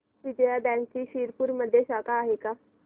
विजया बँकची शिरपूरमध्ये शाखा आहे का